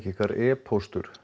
ykkar e póstur